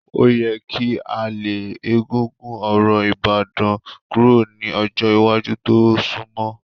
Ó yẹ kí a lé egúngún orò Ìbàdàn kúrò ní ọjọ́ iwájú tó sunmọ́.